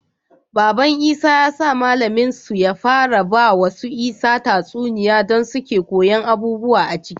Baban isa ya sa mallamin su ya fara bawa su isa tatsuniya dan suke koyan abubuwa aciki